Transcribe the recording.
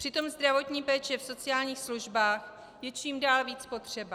Přitom zdravotní péče v sociálních službách je čím dál víc potřeba.